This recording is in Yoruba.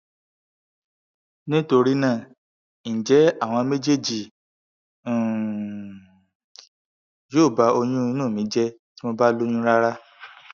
nitorinaa nje awọn mejeeji um yo ba oyun inu mi je ti mo ba loyun rara